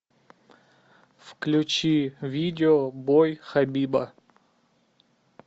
включи видео бой хабиба